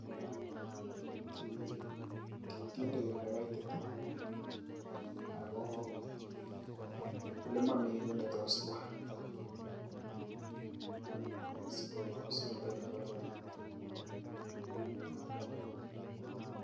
Kondoi elekaitit ak ko olemomi kii netos twaa sikotebi koloo.